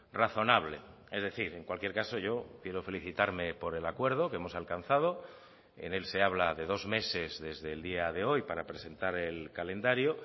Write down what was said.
razonable es decir en cualquier caso yo quiero felicitarme por el acuerdo que hemos alcanzado en él se habla de dos meses desde el día de hoy para presentar el calendario